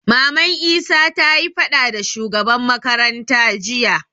Maman isa tayi faɗa da shugaban makaranta jiya